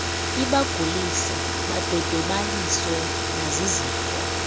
ibagulise badodobaliswe nazizifo